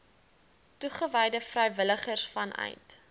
toegewyde vrywilligers vanuit